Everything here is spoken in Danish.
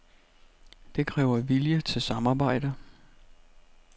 Det kræver vilje til samarbejde.